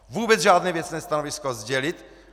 Vůbec žádné věcné stanovisko sdělit.